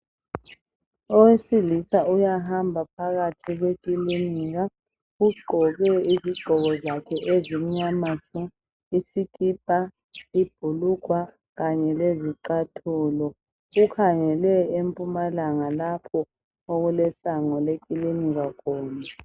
Owesilisa uyahamba phakathi kwekilinika. Ugqoke izigqoko zakhe ezimnyama, isikipa, ibhulugwa kanye lezicathulo. Ukhangele empumalanga lapho okulesango lekilinika khona.